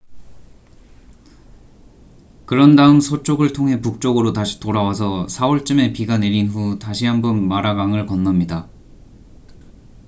그런 다음 서쪽을 통해 북쪽으로 다시 돌아와서 4월쯤에 비가 내린 후 다시 한번 마라 강을 건넙니다